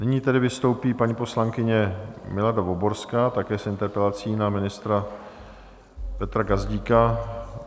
Nyní tedy vystoupí paní poslankyně Milada Voborská, také s interpelací na ministra Petra Gazdíka.